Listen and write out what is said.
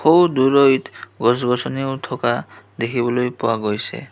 সৌ দূৰৈত গছ গছনীও থকা দেখিবলৈ পোৱা গৈছে.